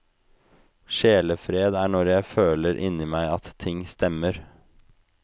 Sjelefred er når jeg føler inni meg at ting stemmer.